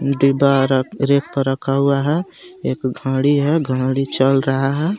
डिबा rack पे रखा हुआ है एक घड़ी है घड़ी चल रहा है.